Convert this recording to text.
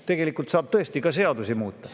Tegelikult saab muidugi ka seadusi muuta.